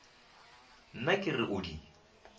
nna ke re o di